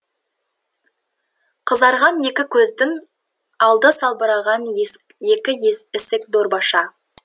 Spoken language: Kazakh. қызарған екі көздің алды салбыраған екі ісік дорбаша